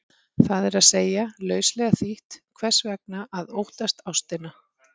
Það er að segja, lauslega þýtt, hvers vegna að óttast ástina?